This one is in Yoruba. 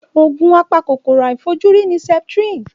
Òògùn apa kòkòrò àìfojúrí ni Septrin.